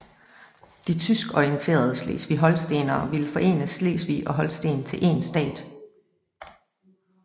De tyskorienterede slesvigholstenere ville forene Slesvig og Holsten til én stat